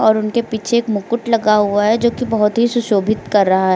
और उनके पीछे एक मुकुट लगा हुआ है जो कि बहुत ही सुशोभित कर रहा है।